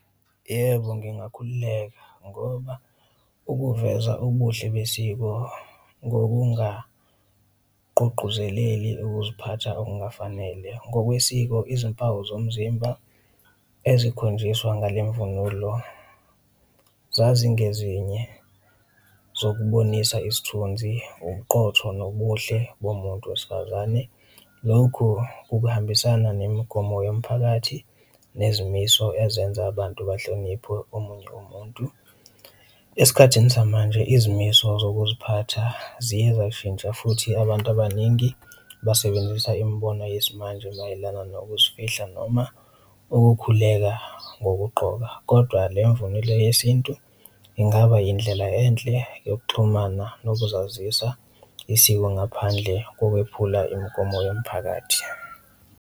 Yebo, ngingakhululeka ngoba ukuveza ubuhle besiko ngokungagqugquzeleli ukuziphatha okungafanele ngokwesiko izimpawu zomzimba ezikhonjiswa ngale mvunulo zazingezinye zokubonisa isithunzi, ubuqotho nobuhle bomuntu wesifazane, lokhu ukuhambisana nemigomo yomphakathi nezimiso ezenza abantu bahloniphwe umuntu umuntu. Esikhathini samanje izimiso zokuziphatha ziye zashintsha futhi abantu abaningi basebenzisa imibono yesimanje mayelana nokuzifihla noma ukukhuleka ngokugqoka kodwa le mvunulo yesintu ingaba yindlela enhle yokuxhumana nokuzazisa isiko ngaphandle kokwephula imigomo yomphakathi.